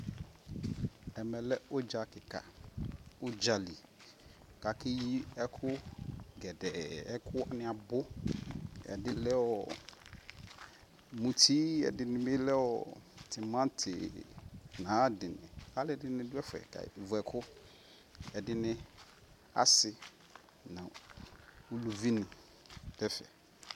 Ɛmɛ lɛ uɖʒa kika uɖʒali kakeyii ɛkugɛdɛɛ, ɛkuniabu ɛdi lɛɔɔ muti ɛdinibilɛɔɔ timatinayadi Aluɛdini duɛfɛ kake vuɛku Ɛdini asii nɔ uluvini duɛfɛ